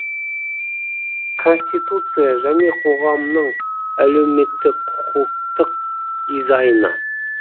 конституция және қоғамның әлеуметтік құқықтық дизайны